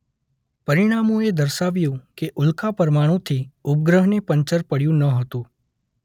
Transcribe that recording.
પરીણામોએ દર્શાવ્યું કે ઉલ્કા પરમાણુથી ઉપગ્રહને પંચર પડ્યું ન હતું.